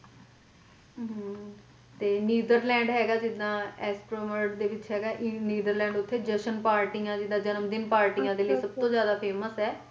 ਹਮ ਤੇ ਨੀਦਰਲੈਂਡ ਹੈਗਾ ਜੀਦਾ ਏੱਸੇਲ ਵਰਲਡ ਦੇ ਵਿੱਚ ਹੈਗਾ ਨੀਦਰਲੈਂਡ ਉੱਥੇ ਜਸ਼ਨ ਪਾਰਟੀਆਂ ਜਿੱਦਾਂ ਜਨਮਦਿਨ ਪਾਰਟੀਆਂ ਲਈ ਸਭ ਤੋਂ ਜਿਆਦਾ famous ਹੈ।